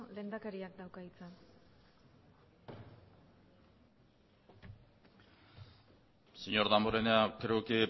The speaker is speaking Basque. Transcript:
lehendakariak dauka hitza señor damborenea creo que he